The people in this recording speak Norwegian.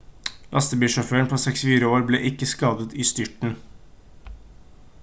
lastebilsjåføren på 64 år ble ikke skadet i styrten